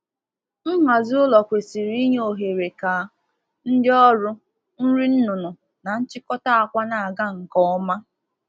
Usoro nhazi ụlọ kwesịrị ime ka mmegharị ndị ọrụ, nnyefe nri, na nchịkọkọta akwa dị mfe.